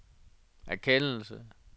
erkendelse